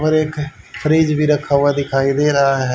और एक फ्रिज भी रखा हुआ दिखाई दे रहा है।